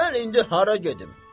Mən indi hara gedim?